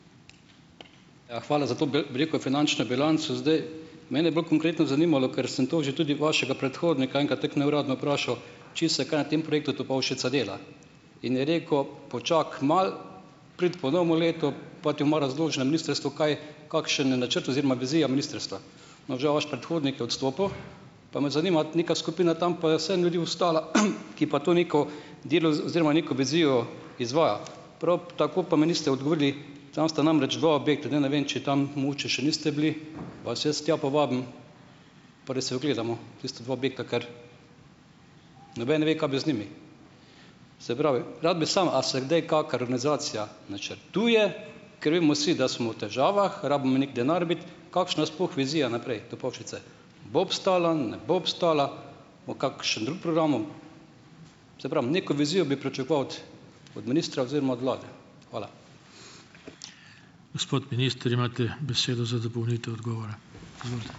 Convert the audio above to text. Ja hvala za to bi rekel, finančno bilanco, zdaj. Mene bolj konkretno zanimalo, ker sem to že tudi vašega predhodnika enkrat tako neuradno vprašal, če se kaj a tem projektu Topolšica dela. In je rekel, počakaj malo, pridi po novem letu, pa ti bomo razložili na ministrstvu, kaj kakšen, načrt oziroma vizija ministrstva No, žal, vaš predhodnik je odstopil. Pa me zanima, neka skupina tam pa je vseeno ljudi ostala, ki pa to neko dilo oziroma neko vizijo izvaja. Prav tako pa mi niste odgovorili, tam sta namreč dva objekta, zdaj ne vem, če tam mogoče še niste bili, vas jaz tja povabim, pa da si ogledamo tista dva objekta. Ker noben ne ve, kaj bi z njimi. Se pravi, rad bi samo, a se kdaj kakšna reorganizacija načrtuje, ker vemo vsi, da smo v težavah, rabimo neki denar Kakšna, sploh vizija naprej, Topolšice, Bo obstala, ne bo obstala? Bo kakšen drug program? Saj pravim, neko vizijo bi pričakoval od od ministra oziroma od vlade. Hvala.